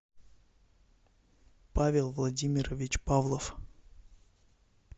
павел владимирович павлов